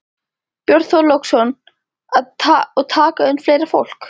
Björn Þorláksson: Og taka inn fleira fólk?